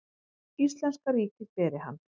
Íslenska ríkið beri hann.